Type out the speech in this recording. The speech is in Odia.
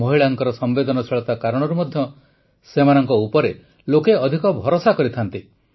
ମହିଳାଙ୍କ ସମ୍ବେଦନଶୀଳତା କାରଣରୁ ମଧ୍ୟ ସେମାନଙ୍କ ଉପରେ ଲୋକେ ଅଧିକ ଭରସା କରିଥାନ୍ତି